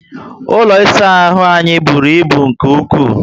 Ụlọ ịsa ahụ anyị bụrụ ibu nke ukwu